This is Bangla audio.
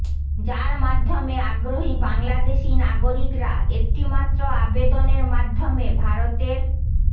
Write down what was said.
যার মাধ্যমে আগ্রহী বাংলাদেশি নাগরিকরা একটিমাত্র আবেদনের মাধ্যমে ভারতের